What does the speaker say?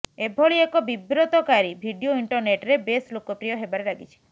ଏଭଳି ଏକ ବିବ୍ରତକାରୀ ଭିଡିଓ ଇଣ୍ଟରନେଟରେ ବେଶ୍ ଲୋକପ୍ରିୟ ହେବାରେ ଲାଗିଛି